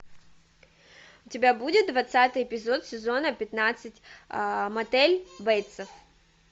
у тебя будет двадцатый эпизод сезона пятнадцать мотель бейтса